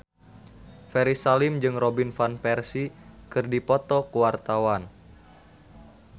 Ferry Salim jeung Robin Van Persie keur dipoto ku wartawan